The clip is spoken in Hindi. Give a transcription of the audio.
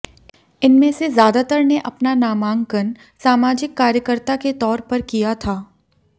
इनमें से ज्यादातर ने अपना नामांकन सामाजिक कार्यकर्ता के तौर पर किया था